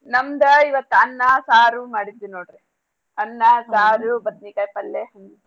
ನಮ್ದ ಇವತ್ತ ಅನ್ನ ಸಾರು ಮಾಡಿದ್ವೀ ನೋಡ್ರಿ ಅನ್ನ ಸಾರು ಬದ್ನಿಕಾಯಿ ಪಲ್ಲೇ.